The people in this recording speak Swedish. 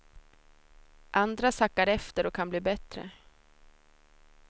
Andra sackar efter och kan bli bättre.